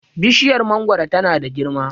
bishiyar mangoro tana da girma